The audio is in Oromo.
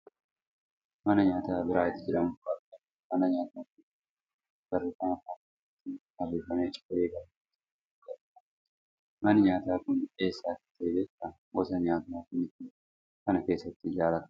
Mana nyaataa biraayit jedhamutu argama. Mana nyaataa kana balbala duratti barreeffama afaan amaaraatiin barreeffame ciree eegalleerra jedhutu jira. Manni nyaataa kun eessa akka ta'e beektaa? Gosa nyaataa kamitumana kana keessatti jaallatam?